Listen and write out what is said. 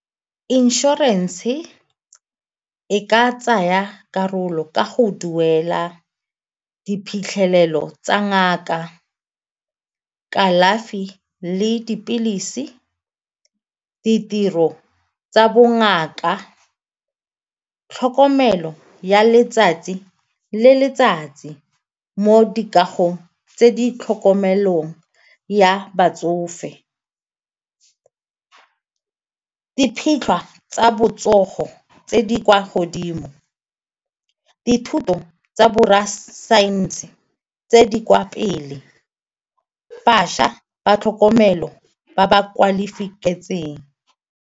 Inšorense e ka tsaya karolo ka go duela diphitlhelelo tsa ngaka, kalafi le dipilisi, ditiro tsa bongaka, tlhokomelo ya letsatsi le letsatsi mo dikagong tse di tlhokomelong ya batsofe, tsa botsogo tse di kwa godimo dithuto tsa borra saense tse di kwa pele, bašwa ba tlhokomelo ba ba .